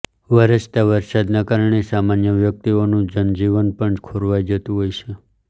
વરસતા વરસાદના કારણે સામાન્ય વ્યક્તિઓનું જનજીવન પણ ખોરવાઈ જતું હોય છે